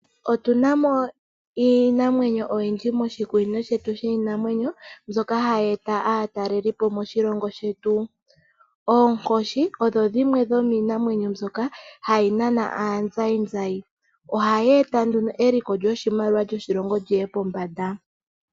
otunamo iinamwenyo oyindji moshi kunino shetu shiinamwenyo mbyoka hayi eta aatalelipo moshi longo shetu oonkoshi odho dhimwe dhominamwenyo mbyoka hayi nana aanzayi nzayi ohayi eta eliko lyoshimaliwa lyoshilongo liye pombanda.